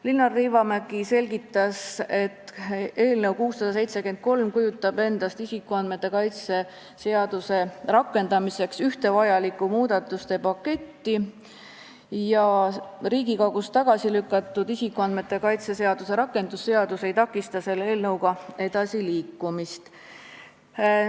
Linnar Liivamägi selgitas, et eelnõu 673 kujutab endast isikuandmete kaitse seaduse rakendamiseks ühte vajalikku muudatuste paketti ja see, et isikuandmete kaitse seaduse rakendamise seaduse eelnõu Riigikogus tagasi lükati, ei takista selle eelnõuga edasiliikumist.